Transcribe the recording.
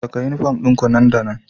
Saka uniform ɗinku nan da nan